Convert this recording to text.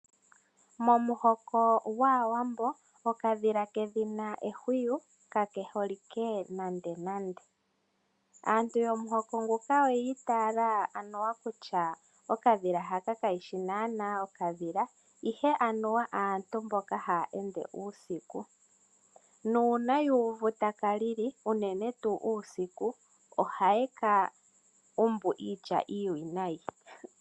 Momuhoko gwAawambo okadhila kedhina ehwiyu kakeholike nandenande . Aantu yomuhoko nguka oyiitayela anuwa kutya okadhila haka kayishi naanaa okadhila, ihe aantu mboka haya ende uusiku. Uuna yuuvu taka lili unene uusiku ohaye ka umbu iitya iiwinayi.